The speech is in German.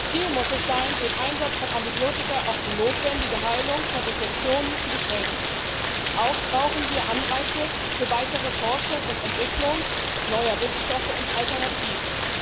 Ziel muss es sein, den Einsatz von Antibiotika auf die notwendige Heilung von Infektionen zu beschränken. Auch brauchen wir Anreize für weitere Forschung und Entwicklung neuer Wirkstoffe und Alternativen.